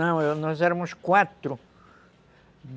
Não, nós éramos quatro.